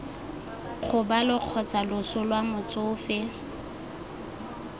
kgobalo kgotsa loso lwa motsofe